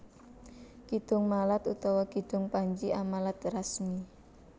Kidung Malat utawa Kidung Panji Amalat Rasmi